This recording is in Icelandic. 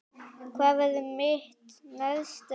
Hvað verður mitt næsta lið?